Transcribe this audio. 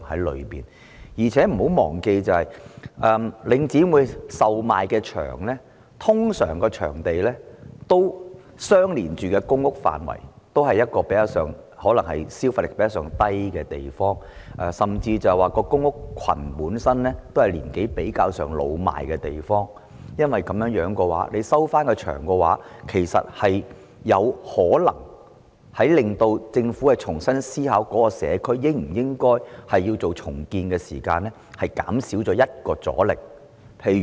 況且，大家不要忘記，領展出售的場地通常與公共房屋範圍相連，可能是市民消費能力較低的地方，甚至公屋群本身也是年齡比較老邁的地方，因此，當政府購回場地後，其實有可能令政府在重新思考應否重建該社區時減少其中一種阻力。